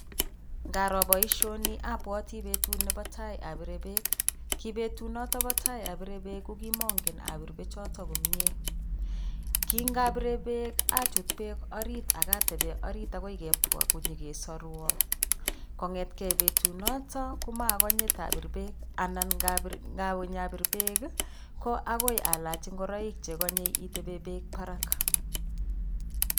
Ngaro boisioni, abwati betut nebo tai abire beek. Ki betut notobo tai abire beek ko kimangen abir beek choton komie. Kingabire beek achut beek orit ak ateben orit agoi kebwa konyegesaruan. Kongete betunotok ko magonye kotabir beek anan ngawe ba bir beek ii, ko agoi alach ingoroik che konye iteben beek barak.